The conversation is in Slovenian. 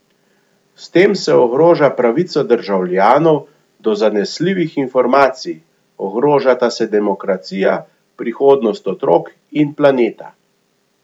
S tem se ogroža pravica državljanov do zanesljivih informacij, ogrožata se demokracija, prihodnost otrok in planeta.